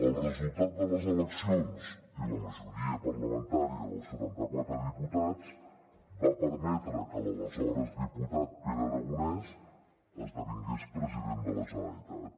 el resultat de les eleccions i la majoria parlamentària dels setanta quatre diputats van permetre que l’aleshores diputat pere aragonès esdevingués president de la generalitat